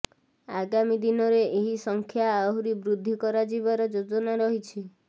ଆଗାମୀ ଦିନରେ ଏହି ସଂଖ୍ୟା ଆହୁରୀ ବୃଦ୍ଧି କରାଯିବାର ଯୋଜନା ରହିଛି